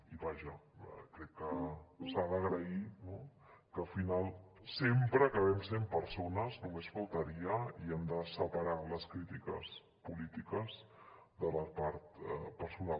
i vaja jo crec que s’ha d’agrair que al final sempre acabem sent persones només faltaria i hem de separar les crítiques polítiques de la part personal